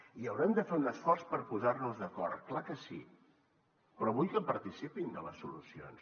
i haurem de fer un esforç per posar nos d’acord clar que sí però vull que participin de les solucions